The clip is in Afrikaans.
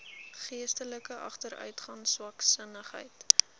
geestelike agteruitgang swaksinnigheid